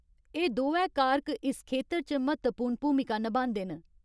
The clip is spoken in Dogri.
एह् दोऐ कारक इस खेतर च म्हत्तवपूर्ण भूमिका नभांदे न।